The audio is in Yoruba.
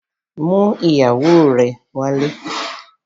Mú ìyàwó rẹ̀ wálé!